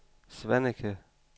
Svaneke